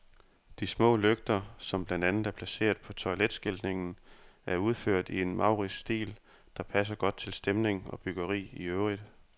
De små lygter, som blandt andet er placeret på toiletskiltningen, er udført i en maurisk stil, der passer godt til stemning og byggeri i øvrigt.